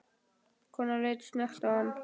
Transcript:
Konan leit snöggt á hann.